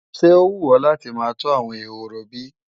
Ṣé ó wù ọ́ láti máa tọ́ àwọn ehoro bí?